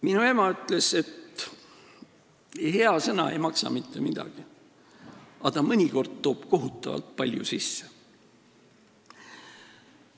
Minu ema ütles, et hea sõna ei maksa mitte midagi, aga ta toob mõnikord kohutavalt palju sisse.